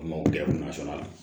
A mago bɛɛ kun ma sɔrɔ a la